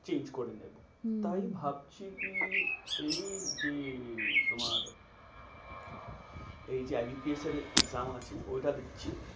Change করে নেবো। হম তা আমি ভাবছি কি? এই যে তোমার এই যে এর exam আছে ওইটা দিচ্ছি।